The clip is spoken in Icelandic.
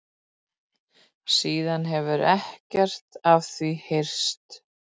Síðan hefur ekkert af því heyrst